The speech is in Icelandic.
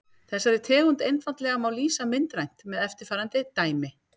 Þessari tegund einfaldleika má lýsa myndrænt með eftirfarandi dæmi.